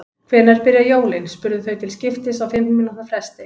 Hvenær byrja jólin? spurðu þau til skiptist á fimm mínútna fresti.